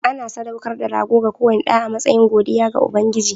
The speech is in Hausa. Ana sadaukar da rago ga kowane ɗa a matsayin godiya ga Ubangiji.